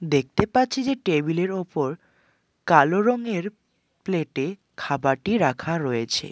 দেখতে পাচ্ছি যে টেবিলের ওপর কালো রংয়ের প্লেটে খাবারটি রাখা রয়েছে।